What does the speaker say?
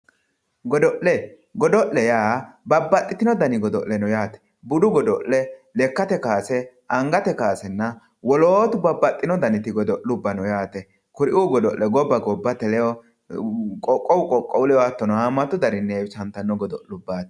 Godo'le, godo'le yaa babbaxxitino dani godo'le noo yaate, budu godo'le lekkate kawaase, angate kaawasenna woloottu babbaxxino dani godo'le no yaate kuriu godo'le gobba gobbate ledo qoqqowu qoqqowu ledo hamatu danini heewisattano godo'leti.